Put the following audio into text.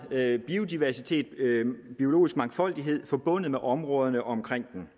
biodiversitet biologisk mangfoldighed forbundet med områderne omkring dem